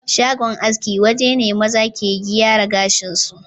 Shagon aske waje ne maza ke giyara gashin su